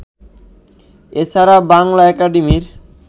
এছাড়া বাংলা একাডেমির